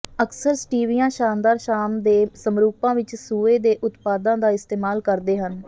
ਅਕਸਰ ਸਟੀਵੀਆਂ ਸ਼ਾਨਦਾਰ ਸ਼ਾਮ ਦੇ ਸਮਰੂਪਾਂ ਵਿਚ ਸੂਏ ਦੇ ਉਤਪਾਦਾਂ ਦਾ ਇਸਤੇਮਾਲ ਕਰਦੇ ਹਨ